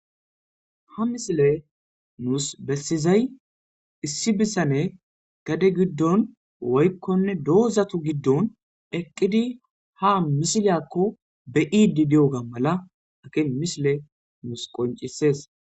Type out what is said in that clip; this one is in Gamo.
Ha misile nus bessizay issi bisane gade giddon woykkonne doozatu giddon eqqidi ha misileyakko be'iidi di'oga mala aki misile nus qoncisees.